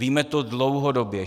Víme to dlouhodobě.